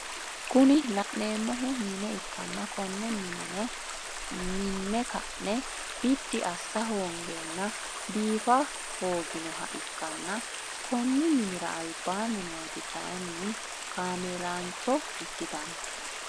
Kuni laneemohu mine ikkanna konne mine no minne ka'ne biddi assa hoongeena biifa hoogonoha ikkanna Konni minnira albaanni nooti kayiinni kaameelaancho ikkitano